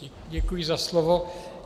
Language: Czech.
Děkuji za slovo.